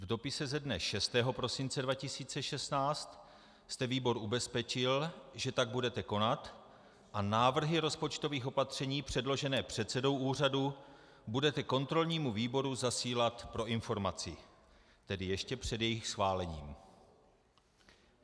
V dopise ze dne 6. prosince 2016 jste výbor ubezpečil, že tak budete konat a návrhy rozpočtových opatření předložené předsedou úřadu budete kontrolnímu výboru zasílat pro informaci - tedy ještě před jejich schválením.